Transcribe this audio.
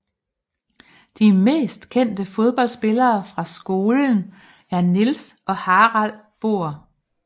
De mest kendte fodboldspillere fra skolen er Niels og Harald Bohr